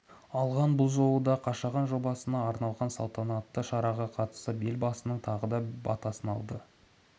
алған бұл жолы да қашаған жобасына арналған салтанатты шараға қатысып елбасының тағы да батасын алды